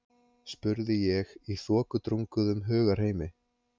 spurði ég í þokudrunguðum hugarheimi.